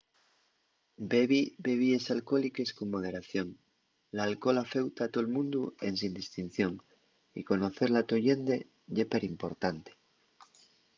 bebi bebíes alcohóliques con moderación. l’alcohol afeuta a tol mundu ensin distinción y conocer la to llende ye perimportante